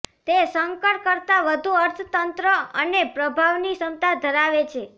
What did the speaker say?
તે સંકર કરતાં વધુ અર્થતંત્ર અને પ્રભાવની ક્ષમતા ધરાવે છે